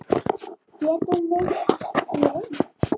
Getum við ekki reynt?